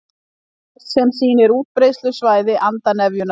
Kort sem sýnir útbreiðslusvæði andarnefjunnar